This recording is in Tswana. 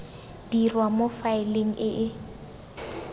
dirwa mo faeleng e e